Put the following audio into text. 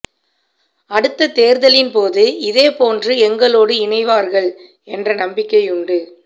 அடுத்தத் தேர்தலின்போது இதே போன்று எங்களோடு இணைவார்கள் என்ற நம்பிக்கையுண்டு